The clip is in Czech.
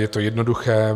Je to jednoduché.